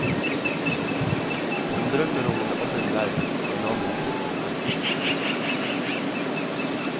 Hun drømmer om en annen verden, en annen tid.